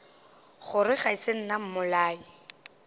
gore ga se nna mmolai